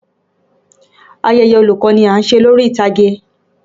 Ayeye olùkọ́ ni à ń ṣe lórí ìtàgé.